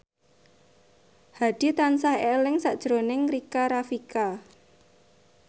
Hadi tansah eling sakjroning Rika Rafika